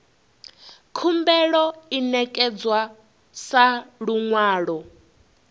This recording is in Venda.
khumbelo i ṋekedzwa sa luṅwalo